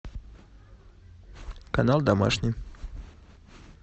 канал домашний